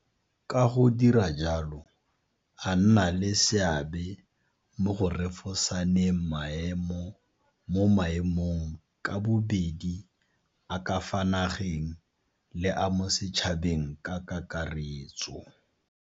Ka go dira jalo a nna le seabe mo go refosaneng maemo mo maemong ka bobedi a ka fa nageng le a mo setšhabeng ka kakaretso.